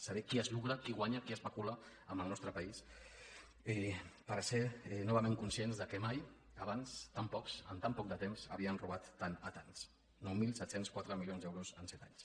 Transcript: saber qui es lucra qui guanya qui especula amb el nostre país per ser novament conscients que mai abans tan pocs en tan poc de temps havien robat tant a tants nou mil set cents i quatre milions d’euros en set anys